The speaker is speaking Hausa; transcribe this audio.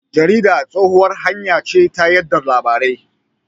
Jarida tsohuwar hanya ce ta yada labarai.